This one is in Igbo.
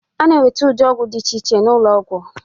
A na-enweta ụdị ọgwụ dị iche iche n'ụlọ ọgwụ.